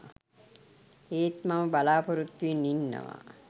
ඒත් මම බලා‍පොරොත්තුවෙන් ඉන්නවා